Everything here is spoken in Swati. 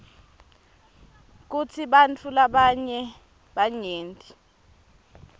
kutsi bantfu labanyenti